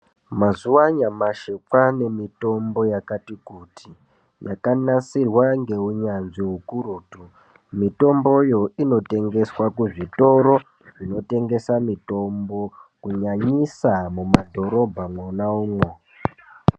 Mazuwa anyamashi kwane mitombo yakati kuti yakanasirwa ngeunyanzvi ukurutu mitomboyo inotengeswa kuzvitoro zvinotengesa mitombo kunyanyisa mumadhorobha mwona umwo.